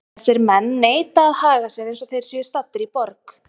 Þessir menn neita að haga sér eins og þeir séu staddir í borg.